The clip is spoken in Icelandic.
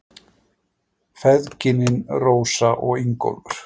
Feðginin, Rósa og Ingólfur.